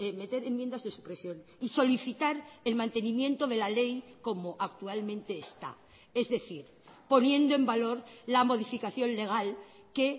meter enmiendas de supresión y solicitar el mantenimiento de la ley como actualmente está es decir poniendo en valor la modificación legal que